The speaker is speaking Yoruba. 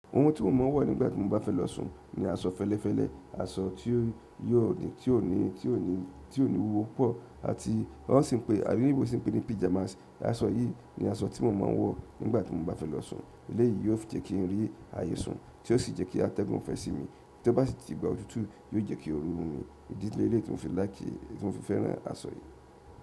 Ohun tí mo máa ń wọ̀ nígbà tí mo bá fẹ́ lọ sùn ni aṣọ fẹ́lẹ́fẹ́lẹ́, aṣọ tí ó ní wúwo pọ̀ àti won si pe àwọn oloyinbo sì ń pè ní pyjamàs. Aṣọ yìí ni aṣọ tí mo máa ń wọ̀ nígbà tí mo bá fẹ́ lọ sùn. Ilé yìí yóò fi jẹ́ kí n rí ààyè sùn tí ó sì jẹ́ kí atẹ́gùn fẹ́ sí mi tí ó bá sì ti digba òtútù yóò jẹ́ kí órú mu mi. Ìdílé leyii ti mo fi like ti mo fi fẹ́ran aṣọ yìí.